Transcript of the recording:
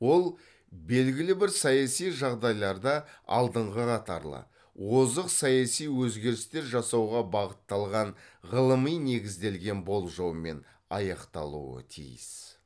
ол белгілі бір саяси жағдайларда алдыңғы қатарлы озық саяси өзгерістер жасауға бағытталған ғылыми негізделген болжаумен аяқталуы тиіс